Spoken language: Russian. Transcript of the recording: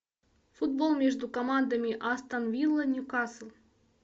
футбол между командами астон вилла ньюкасл